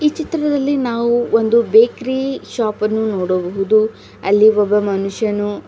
ಈ ಚಿತ್ರದಲ್ಲಿ ನಾವು ಒಂದು ಬೇಕ್ರಿ ಶಾಪ್ ಅನ್ನು ನೋಡಬಹುದು ಅಲ್ಲಿ ಒಬ್ಬ ಮನುಷ್ಯನು--